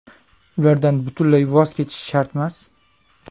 Ulardan butunlay voz kechish shartmas.